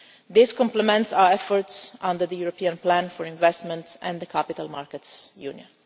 This complements our efforts under the European Plan for Investment and the Capital Markets